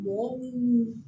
Mɔgɔ minnu